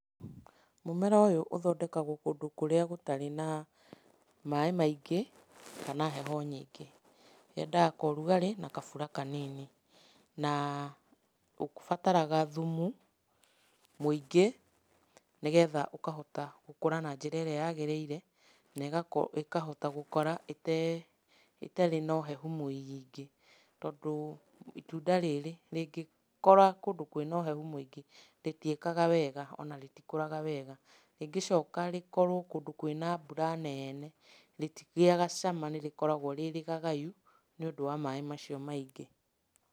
Mũmera ũyũ ũthondekagwo kũndũ kũrĩa gũtarĩ na maĩ maingĩ kana heho nyingĩ, yendaga kaũrugarĩ na kabura kanini. Na, ũbataraga thumu mũingĩ nĩgetha ũkahota gũkũra na njĩra ĩrĩa yagĩrĩire na ĩkahota gũkũra ĩtarĩ na ũhehu mũingĩ, tondũ itunda rĩrĩ rĩngĩkũra kũndũ kwĩna ũhehu mũingĩ rĩtiĩkaga wega, ona rĩtikũraga wega,. Rĩngĩcoka rĩkorwo kũndũ kwĩna mbura neene, rĩtigĩaga cama rĩkoragwo rĩ rĩgagayu nĩũndũ wa maĩ macio maingĩ.